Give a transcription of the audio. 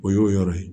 O y'o yɔrɔ ye